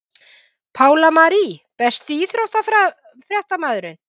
Pála Marie Besti íþróttafréttamaðurinn?